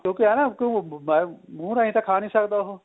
ਕਿਉਂਕਿ ਇਹ ਏ ਨਾ ਮੁਹ ਰਹੀ ਤਾਂ ਖਾ ਨੀਂ ਸਕਦਾ ਉਹ